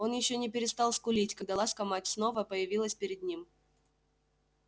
он ещё не перестал скулить когда ласка мать снова появилась перед ним